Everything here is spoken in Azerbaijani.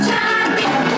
Heydər!